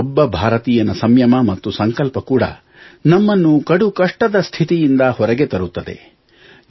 ಪ್ರತಿಯೊಬ್ಬ ಭಾರತೀಯನ ಸಂಯಮ ಮತ್ತು ಸಂಕಲ್ಪ ಕೂಡ ನಮ್ಮನ್ನು ಕಡುಕಷ್ಟದ ಸ್ಥಿತಿಯಿಂದ ಹೊರಗೆ ತರುತ್ತದೆ